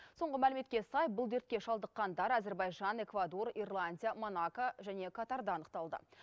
соңғы мәліметке сай бұл дертке шалдыққандар әзербайжан эквадор ирландия монако және катарда анықталды